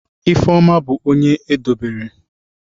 Ifeoma bu onye edobere.